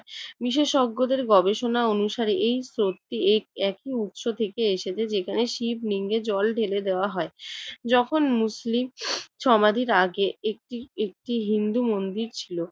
বিশেষজ্ঞদের গবেষণা অনুসারে এই স্রোতটি একই উৎস থেকে এসেছে। যেখানে শিবলিঙ্গে জল ঢেলে দেওয়া হয়। যখন মুসলিম সমাধির আগে একটি একটি হিন্দু মন্দির ছিল।